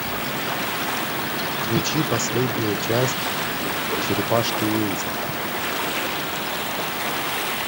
включи последнюю часть черепашки ниндзя